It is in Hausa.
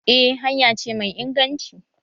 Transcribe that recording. Eh hanya ce mai inganci